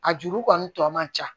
A juru kɔni tɔ man ca